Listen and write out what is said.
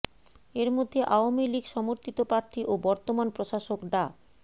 এর মধ্যে আওয়ামী লীগ সমর্থিত প্রার্থী ও বর্তমান প্রশাসক ডা